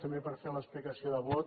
també per fer l’explicació de vot